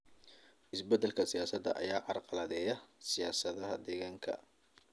Isbedelada siyaasadeed ayaa carqaladeeya siyaasadaha deegaanka.